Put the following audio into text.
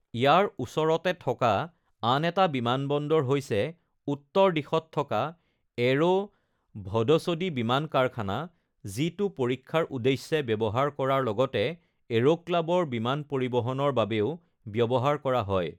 ইয়াৰ ওচৰতে থকা আন এটা বিমানবন্দৰ হৈছে উত্তৰ দিশত থকা এৰো ভ’ড’চ’ডী বিমান কাৰখানা, যিটো পৰীক্ষাৰ উদ্দেশ্যে ব্যৱহাৰ কৰাৰ লগতে এৰোক্লাবৰ বিমান পৰিবহণৰ বাবেও ব্যৱহাৰ কৰা হয়।